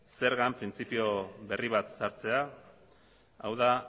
zergan printzipio berri bat sartzea hau da